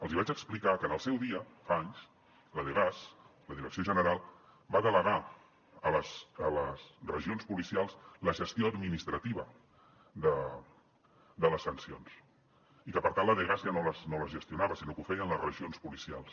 els hi vaig explicar que en el seu dia fa anys la de dgas la direcció general va delegar a les regions policials la gestió administrativa de les sancions i que per tant la dgas ja no les gestionava sinó que ho feien les regions policials